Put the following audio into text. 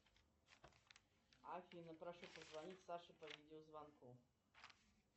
афина прошу позвонить саше по видеозвонку